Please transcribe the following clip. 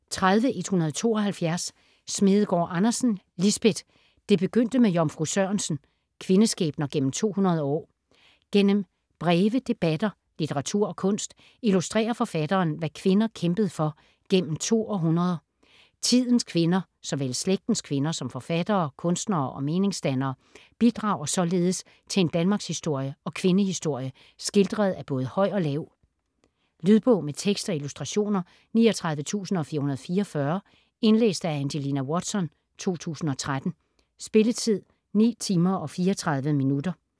30.172 Smedegaard Andersen, Lisbeth: Det begyndte med Jomfru Sørensen: kvindeskæbner gennem 200 år Gennem breve, debatter, litteratur og kunst, illustrerer forfatteren hvad kvinder kæmpede for gennem to århundreder. Tidens kvinder, såvel slægtens kvinder som forfattere, kunstnere og meningsdannere, bidrager således til en danmarkshistorie og kvindehistorie skildret af både høj og lav. Lydbog med tekst og illustrationer 39444 Indlæst af Angelina Watson, 2013. Spilletid: 9 timer, 34 minutter.